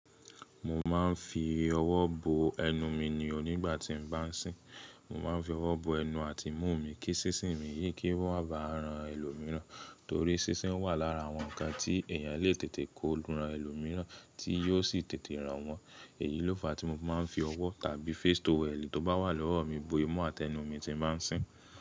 Mo máa ń fi ọwọ́ bo ẹnu mi nìo nígbà tí mo bá ń sìn. Mo máa ń fi ọwọ́ bo ẹnu àti imú mi kí sísìn mi yìí kó má ba ran ẹlòmíràn torí sísìn wà lára àwọn ǹkan tí èèyàn lè tètè kó lu ẹlòmíràn tí yóò sì tètè ràn wọ́n. Èyí ló fa tí mo máa ń fi ọwọ́ tàbí face towel tí ó bá wà lọ́wọ́ mi bo imú àti ẹnu mi tí mo bá ń sìn.